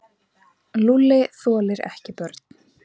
Lúlli þolir ekki börn.